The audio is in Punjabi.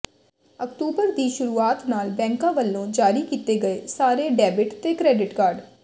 ਅਕਤੂਬਰ ਦੀ ਸ਼ੁਰੂਆਤ ਨਾਲ ਬੈਂਕਾਂ ਵੱਲੋਂ ਜਾਰੀ ਕੀਤੇ ਗਏ ਸਾਰੇ ਡੈਬਿਟ ਤੇ ਕ੍ਰੈਡਿਟ ਕਾਰਡ